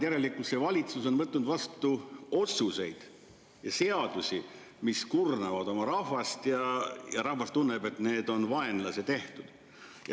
Järelikult see valitsus on võtnud vastu otsuseid ja seadusi, mis kurnavad oma rahvast, ja rahvas tunneb, et need on vaenlase tehtud.